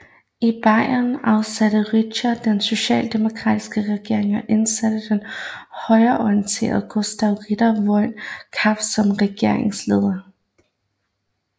I Bayern afsatte Reichswehr den sociademokratiske regering og indsatte den højreorienterede Gustav Ritter von Kahr som regeringsleder